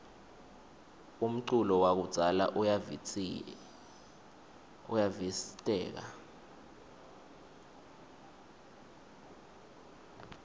umculo wakudzala uyavistseka